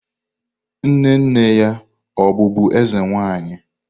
Nne nne ya ọ̀ bụbu eze nwanyi?